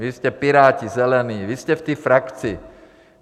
Vy jste Piráti-Zelení, vy jste v té frakci.